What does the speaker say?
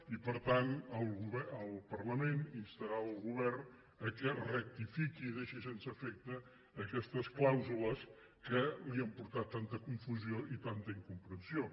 i per tant el parlament instarà el govern que rectifiqui i deixi sense efecte aquestes clàusules que li han portat tanta confusió i tanta incomprensió